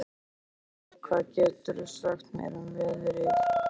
Finnbjörk, hvað geturðu sagt mér um veðrið?